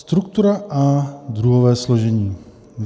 Struktura a druhové složení.